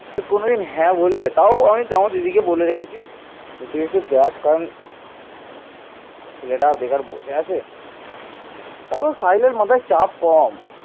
রাজ্যবর্ধনের মৃত্যুর প্রতিশোধ গ্রহণের জন্য তার ভাই ও উত্তরাধিকারী হর্ষবর্ধন এক বিপুল বাহিনী গঠন করেন